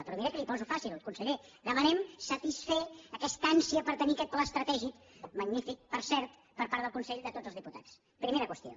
però miri que li ho poso fàcil conseller demanem satisfer aquesta ànsia per tenir aquest pla estratègic magnífic per cert per part del consell de tots els diputats primera qüestió